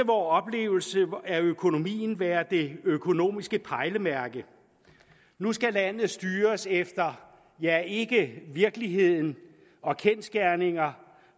oplevelse af økonomien være det økonomiske pejlemærke nu skal landet styres efter ja ikke virkeligheden og kendsgerninger